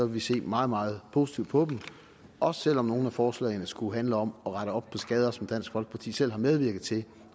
vi se meget meget positivt på dem også selv om nogle af forslagene skulle handle om at rette op på skader som dansk folkeparti selv har medvirket til